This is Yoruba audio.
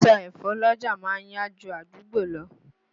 Títa ẹ̀fọ́ l'ọ́jà ma ń yá ju àdúgbò lọ.